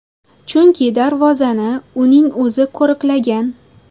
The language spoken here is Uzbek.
Chunki darvozani uning o‘zi qo‘riqlagan.